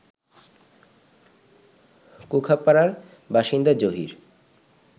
কুখাপাড়ার বাসিন্দা জহির